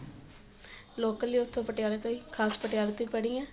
local ਈ ਉੱਥੋ ਪਟਿਆਲੇ ਤੋਂ ਹੀ ਖਾਸ ਪਟਿਆਲੇ ਤੋਂ ਹੀ ਪੜੀ ਆ